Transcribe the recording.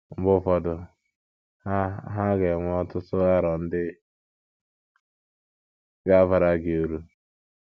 Mgbe ụfọdụ, ha ha ga - enwe ọtụtụ aro ndị ga - abara gị uru.